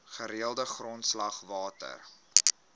gereelde grondslag water